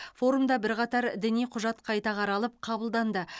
форумда бірқатар діни құжат қайта қаралып қабылданды